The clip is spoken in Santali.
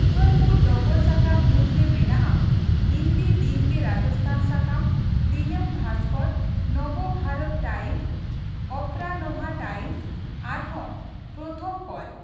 ᱩᱫᱚᱭᱯᱩᱨ ᱰᱚᱜᱚᱨ ᱥᱟᱠᱟᱢ ᱢᱩᱫᱨᱮ ᱢᱮᱱᱟᱜᱼᱟ ᱦᱤᱱᱫᱤ ᱫᱤᱱᱜᱮ ᱨᱟᱡᱚᱥᱛᱷᱟᱱ ᱥᱟᱠᱟᱢ, ᱫᱤᱱᱟᱹᱢ ᱵᱷᱟᱥᱠᱚᱨ, ᱱᱚᱵᱚ ᱵᱷᱟᱨᱚᱛ ᱴᱟᱭᱤᱢᱚᱥ, ᱚᱯᱨᱟᱱᱚᱦᱟ ᱴᱟᱭᱤᱢᱚᱥ ᱟᱨᱦᱚᱸ ᱯᱨᱚᱛᱷᱚᱢᱠᱞ ᱾